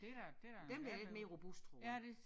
Den der er lidt mere robust tror jeg